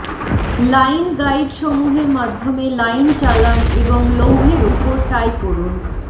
line গাইডসমূহের মাধ্যমে line চালান এবং লৌহের উপর টাই করুন